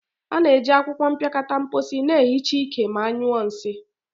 A na-eji akwụkwọ mpịakọta mposi na-ehicha ike ma nyuo nsii.